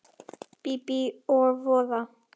Bíbí og voða.